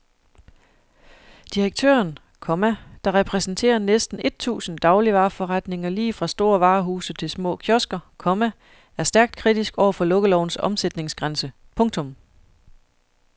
Direktøren, komma der repræsenterer næsten et tusind dagligvareforretninger lige fra store varehuse til små kiosker, komma er stærkt kritisk over for lukkelovens omsætningsgrænse. punktum